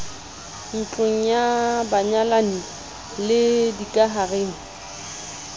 ntlong ya banyalani le dikahareng